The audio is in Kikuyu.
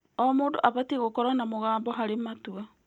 O mũndũ abatiĩ gũkorwo na mũgambo harĩ matua.